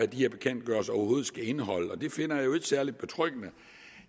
de her bekendtgørelser overhovedet skal indeholde og det finder jeg jo ikke særlig betryggende